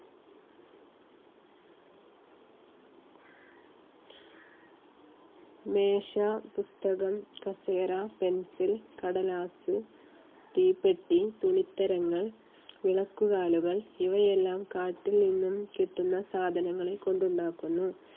മേശ, പുസ്തകം, കസേര Pencil കടലാസ്, തീപ്പെട്ടി, തുണിത്തരങ്ങൾ, വിളക്കുകാലുകൾ ഇവയെല്ലാം കാട്ടിൽ നിന്നും കിട്ടുന്ന സാധനങ്ങളെ കൊണ്ട് ഉണ്ടാക്കുന്നു.